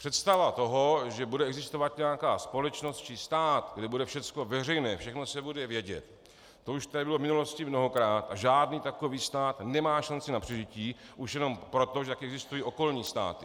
Představa toho, že bude existovat nějaká společnost či stát, kde bude všechno veřejné, všechno se bude vědět, to už tady bylo v minulosti mnohokrát, a žádný takový stát nemá šanci na přežití už jenom proto, že také existují okolní státy.